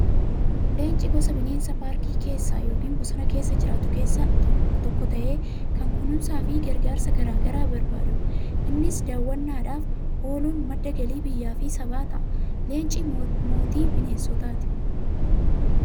Leenci gosa bineensa paarkii keessa yookiin bosona keessa jiraatu keessaa tokko ta'ee, kan kunuunsaa fi gargaarsa garaa garaa barbaadudha. Innis daawwannaadhaaf ooluun madda galii biyyaa fi sabaa ta'a. Leenci mootii bineensotaati.